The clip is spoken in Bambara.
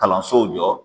Kalansow jɔ